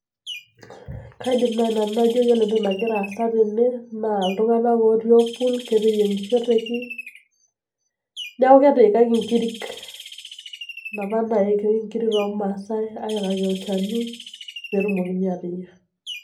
Kaidim nai nanu atejo ore entoki nagira aasa tene naa ltung'anak otii otpul keteyieng'ishoeteki neaku ketiikaki nkirik apa naiki nkirik irmaasai aikaki olchani petumokini anya.